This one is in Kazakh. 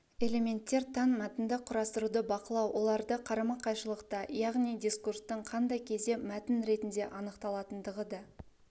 элементтер тән мәтінді құрастыруды бақылау оларды қарама-қайшылықта яғни дискурстың кандай кезде мәтін ретінде анықталатындығы да